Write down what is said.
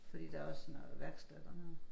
Fordi der også sådan noget værksted dernede